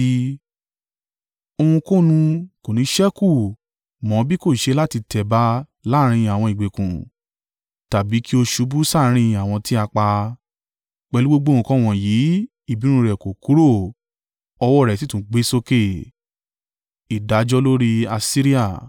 Ohunkóhun kò ní ṣẹ́kù mọ́ bí kò ṣe láti tẹ̀ ba láàrín àwọn ìgbèkùn tàbí kí o ṣubú sáàrín àwọn tí a pa. Pẹ̀lú gbogbo nǹkan wọ̀nyí, ìbínú rẹ̀ kò kúrò, ọwọ́ rẹ̀ sì tún gbé sókè.